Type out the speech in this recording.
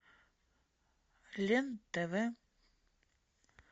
лен тв